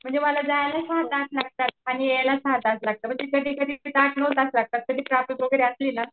म्हणजे मला जायला तास लागतात. आणि यायला सहा तास लागतात म्हणजे आठ नऊ तास लागतात ट्राफिक वगैरे असले ना